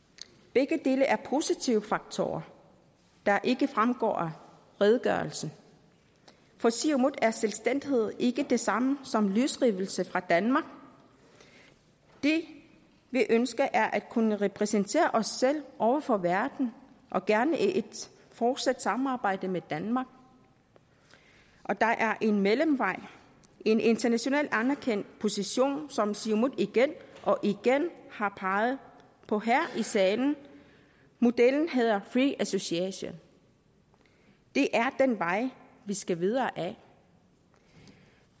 begge dele er positive faktorer der ikke fremgår af redegørelsen for siumut er selvstændighed ikke det samme som løsrivelse fra danmark det vi ønsker er at kunne repræsentere os selv over for verden og gerne i et fortsat samarbejde med danmark og der er en mellemvej en international anerkendt position som siumut igen og igen har peget på her i salen modellen hedder free association det er den vej vi skal videre ad